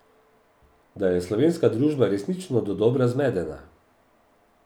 Da je slovenska družba resnično dodobra zmedena.